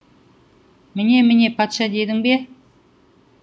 міне міне патша дедің бе